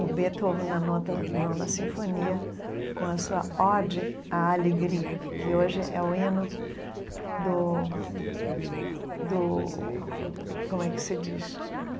O Beethoven na nota nona sinfonia, com a sua Ode à Alegria, que hoje é o hino do do... Como é que se diz?